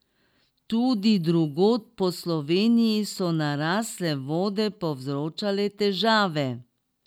Tudi drugod po Sloveniji so narasle vode povzročale težave.